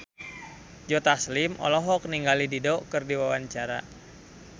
Joe Taslim olohok ningali Dido keur diwawancara